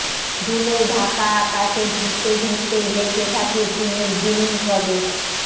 ধুলোয় ঢাকা আকাশে ধুঁকতে ধুঁকতেই বেঁচে থাকে চিনের জিলিন প্রদেশ